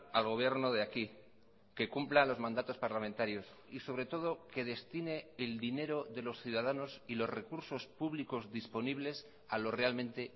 al gobierno de aquí que cumpla los mandatos parlamentarios y sobre todo que destine el dinero de los ciudadanos y los recursos públicos disponibles a lo realmente